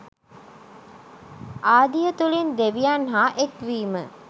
ආදිය තුළින් දෙවියන් හා එක්වීම